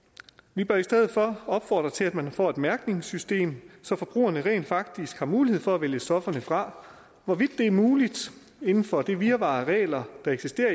vi bør i stedet for opfordre til at man får et mærkningssystem så forbrugerne rent faktisk har mulighed for at vælge stofferne fra hvorvidt det er muligt inden for det virvar af regler der eksisterer